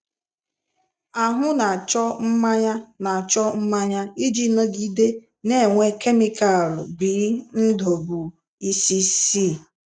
Ahụ na-achọ mmanya na-achọ mmanya iji nọgide na-enwe kemịkalụ bNdubuisice.